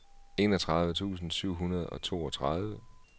enogtredive tusind syv hundrede og toogtredive